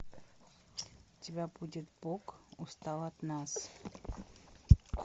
у тебя будет бог устал от нас